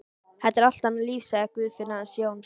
Þetta er allt annað líf, sagði Guðfinna hans Jóns.